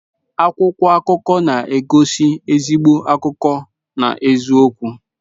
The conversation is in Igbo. Akwụkwọ akụkọ na-egosi ezigbo akụkọ na eziokwu.